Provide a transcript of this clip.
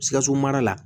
Sikaso mara la